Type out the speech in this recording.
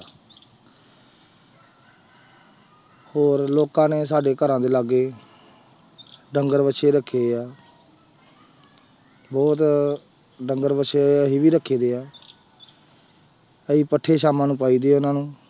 ਹੋਰ ਲੋਕਾਂ ਨੇ ਸਾਡੇ ਘਰਾਂ ਦੇ ਲਾਗੇ ਡੰਗਰ ਵੱਛੇ ਰੱਖੇ ਆ ਬਹੁਤ ਡੰਗਰ ਵੱਛੇ ਅਸੀਂ ਵੀ ਰੱਖੇ ਹੋਏ ਆ ਅਸੀਂ ਪੱਠੇ ਸਾਮਾਂ ਨੂੰ ਪਾਈਦੇ ਆ ਉਹਨਾਂ ਨੂੰ।